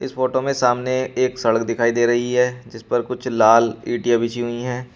Photo में सामने एक सड़क दिखाई दे रही है जिस पर कुछ लाल इटिया बिछी हुई हैं।